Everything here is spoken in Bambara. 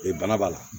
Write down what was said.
Ee bana b'a la